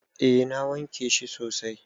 Eh na wanke shi sosai.